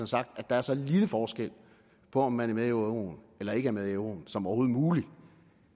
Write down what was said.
sagt at der er så lille en forskel på om man er med i euroen eller ikke er med i euroen som overhovedet muligt